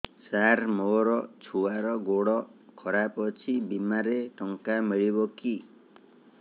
ସାର ମୋର ଛୁଆର ଗୋଡ ଖରାପ ଅଛି ବିମାରେ ଟଙ୍କା ମିଳିବ କି